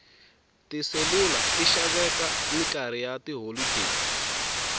tiselula ti xaveka minkarhi ya tiholodeni